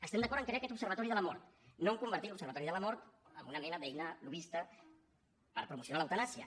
estem d’acord en crear aquest observatori de la mort no en convertir l’observatori de la mort en una mena d’eina lobbista per promocionar l’eutanàsia